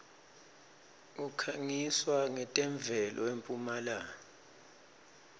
kukhanqiswa nqetemuelo empumlanga